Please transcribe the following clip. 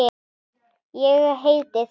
Ég heiti því.